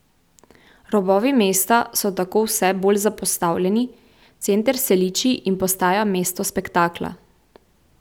Robovi mesta so tako vse bolj zapostavljeni, center se liči in postaja mesto spektakla.